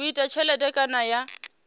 u ita tshelede kana ya